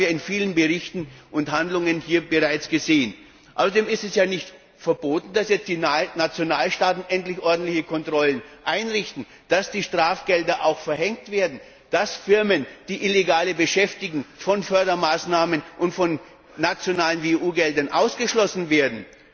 Das haben wir in vielen Berichten und Handlungen hier bereits gesehen. Außerdem ist es ja nicht verboten, dass die nationalen Staaten endlich ordentliche Kontrollen einrichten, dass die Strafgelder auch verhängt werden, dass Firmen, die Illegale beschäftigen, von Fördermaßnahmen und von nationalen wie auch von EU Geldern ausgeschlossen werden.